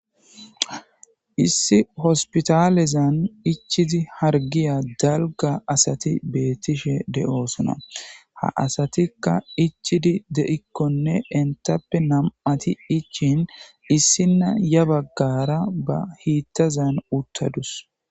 issi hospitalezan ichizi hargiya dalga asati beettishe de7oosona ha asatikka ichidi deikkonne entappe nam7ati ichin issinna ya baggara ba hiittazan uttadus